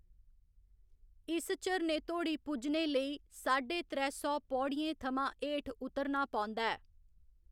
इस झरने धोड़ी पुज्जने लेई साड्डे त्रै सौ पौड़ियें थमां हेठ उतरना पौंदा ऐ।